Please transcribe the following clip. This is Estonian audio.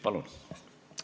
Palun!